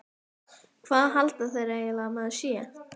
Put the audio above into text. Hvað halda þeir eiginlega að maður sé?